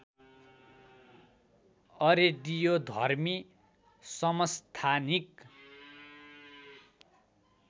अरेडियोधर्मी समस्थानिक